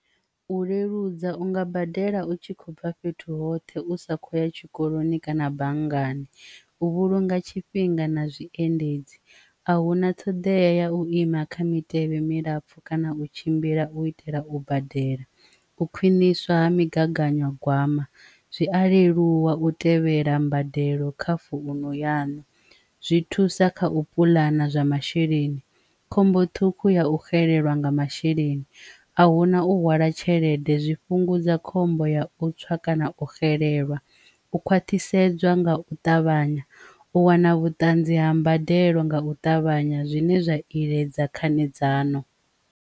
U leludza unga badela u tshi khou bva fhethu hoṱhe u sa khou ya tshikoloni kana banngani, u vhulunga tshifhinga na zwiendedzi a huna ṱhoḓea ya u ima kha mitevhe milapfu kana u tshimbila u itela, u badela u khwiṋiswa ha migaganyagwama zwi a leluwa u tevhela mbadelo kha founu yanu zwi thusa kha u puḽana zwa masheleni, khombo ṱhukhu ya u xelelwa nga masheleni a huna u hwala tshelede zwifhungudza khombo ya u tswa kana u xelelwa u khwathisedzwa nga u ṱavhanya u wana vhuṱanzi ha mbadelo nga u ṱavhanya zwine zwa iledza khanedzano.